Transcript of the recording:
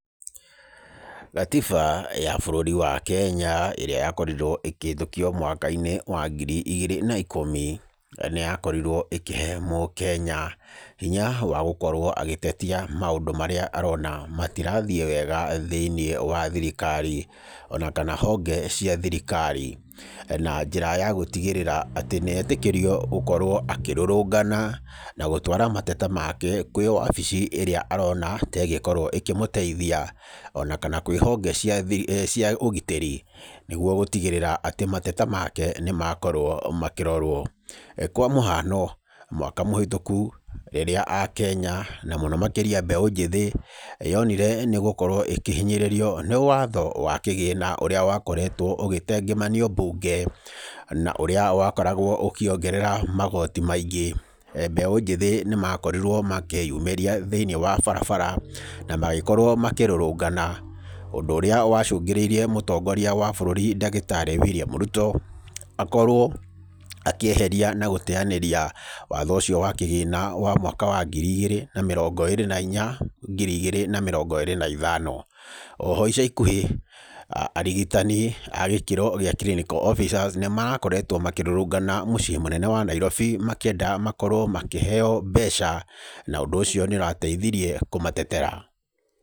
Gatiba ya bũrũri wa Kenya ĩrĩa yakorirwo ĩkĩhĩtũkio mwaka-inĩ wa ngiri igĩrĩ na ikũmi, nĩyakorirwo ĩkĩhe mũkenya hinya wa gũkorwo agĩtetia maũndũ marĩa arona matirathiĩ wega thĩiniĩ wa thirikari ona kana honge cia thirikari, na njĩra ya gũtigĩrĩra atĩ nĩetĩkĩrio gũkorwo akĩrũrũngana na gũtwara mateta make kwĩ wabici ĩrĩa arona tegĩkorwo ĩkĩmũteithia ona kana kwĩ honge cia thiri, cia ũgitĩri nĩgwo gũtigĩrĩra atĩ mateta make nĩmakorwo makĩrorwo. Kwa mũhano, mwaka mũhĩtũku rĩrĩa akenya na mũno makĩria mbeũ njĩthĩ yonire nĩgũkorwo ĩkĩhinyĩrĩrio nĩ watho wa kĩgĩna ũrĩa wakoretwo ũgĩtengemanio mbunge na ũrĩa wakoragwo ũkĩongerera magoti maingĩ, mbeũ njĩthĩ nĩmakorirwo makĩĩyumĩria thĩiniĩ wa barabara na magĩkorwo makĩrũrũngana ũndũ ũrĩa wacũngĩrĩirie mũtongoria wa bũrũri ndagĩtarĩ William Ruto, akorwo akĩeheria na gũteanĩria watho ũcio wa kĩgĩna wa mwaka wa ngiri igĩrĩ na mĩrongo ĩrĩ na inya ngiri igĩrĩ na mĩrongo ĩrĩ na ithano. Oho ica ikuhĩ arigitani a gĩkĩro gĩa clinical officers nĩmarakoretwo makĩrũrũngana mũciĩ mũnene wa Nairobi makĩenda makorwo makĩheywo mbeca, na ũndũ ũcio nĩũrateithirie kũmatetera.